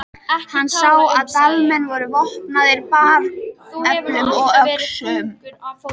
Hann sá að Dalamenn voru vopnaðir bareflum og öxum.